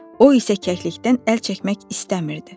O isə kəklikdən əl çəkmək istəmirdi.